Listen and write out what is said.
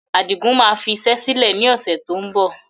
Adigun máa fi iṣẹ́ sílẹ̀ ni ọ̀sẹ̀ tó ń bọ̀